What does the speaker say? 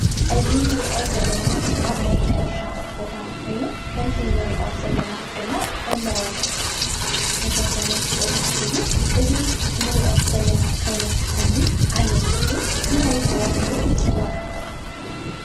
እዚ ንሪኦ ዘለና ኣብ ናይ ሕርሻ ቦታ ኾይኑ ከም እቲ ንሪኦ ዘለና ድማ ሓምለዋይ ዝተሸፈነ ቦታ እዩ፡፡ እዚ እንሪኦ ዘለና ዓይነት ሓምሊ ዓይነት ተኽሊ እንታይ ተባሂሉ ይፅዋዕ?